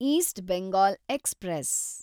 East Bengal express